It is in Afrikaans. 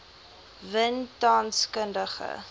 win tans kundige